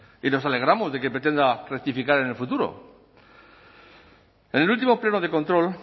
y nos alegramos de que pretenda rectificar en el futuro en el último pleno de control